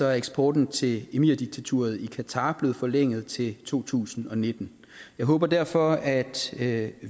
er eksporten til emirdiktaturet i qatar blevet forlænget til to tusind og nitten jeg håber derfor at at